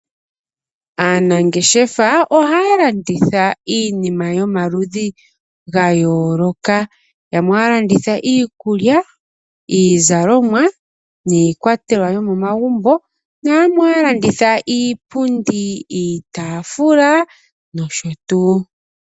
Aanangeshefa ohaya landitha iinima yomaludhi gayooloka. Yamwe ohaya landitha iikulya, iizalomwa niikwatelwa yomagumbo. Yamwe ohaya landitha iipundi, iitaafula nosho tuu.